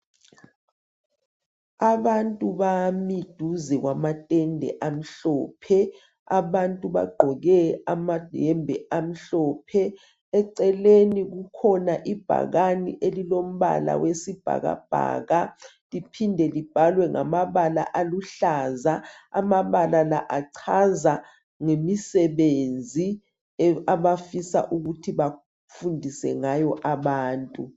Abantu bami duze kwamatenda amhlophe abantu bagqoke amayembe amhlophe eceleni kukhona ibhakani elilo mbala wesibhakabhaka liphinde libhaliwe ngamabala aluhlaza amabala la achaza ngemisebenzi abafisa ukuthi bafundiswe ngayo abantu